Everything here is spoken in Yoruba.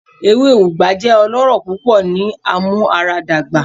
Ewe Ugba jẹ ọlọrọ pupọ ni amuaradagba